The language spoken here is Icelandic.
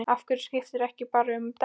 Af hverju skiptirðu ekki bara um dekk?